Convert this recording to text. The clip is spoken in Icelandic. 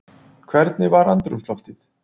Hvernig var andrúmsloftið?